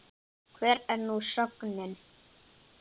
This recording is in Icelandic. Hver er nú sögnin?